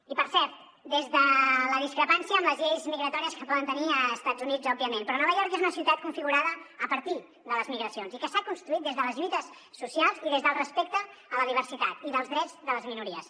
i per cert des de la discrepància amb les lleis migratòries que poden tenir als estats units òbviament però nova york és una ciutat configurada a partir de les migracions i que s’ha construït des de les lluites socials i des del respecte a la diversitat i els drets de les minories